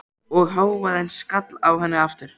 Og hávaðinn skall á henni aftur.